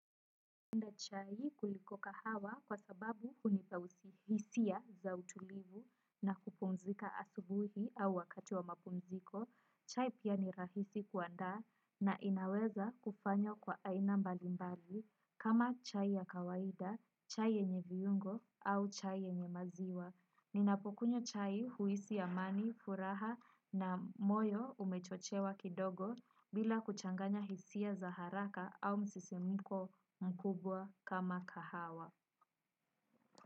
Napenda chai kuliko kahawa kwa sababu hunipa hisia za utulivu na kupumzika asubuhi au wakati wa mapumziko, chai pia ni rahisi kuandaa na inaweza kufanywa kwa aina mbalimbali kama chai ya kawaida, chai yenye viungo au chai yenye maziwa. Ninapokunywa chai huhisi amani, furaha na moyo umechochewa kidogo bila kuchanganya hisia za haraka au msisimko mkubwa kama kahawa.